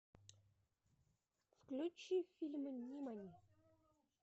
включи фильм нимани